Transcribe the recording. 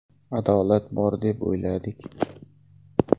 Adolat bor deb o‘ylardik.